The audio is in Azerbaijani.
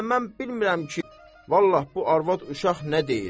Hələ mən bilmirəm ki, Vallah bu arvad uşaq nə deyir.